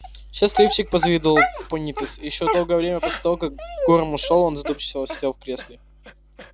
счастливчик позавидовал пониетс и ещё долгое время после того как горм ушёл он задумчиво сидел в кресле